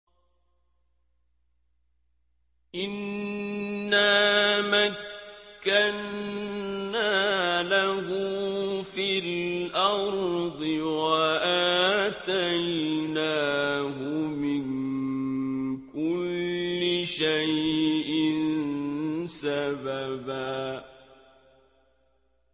إِنَّا مَكَّنَّا لَهُ فِي الْأَرْضِ وَآتَيْنَاهُ مِن كُلِّ شَيْءٍ سَبَبًا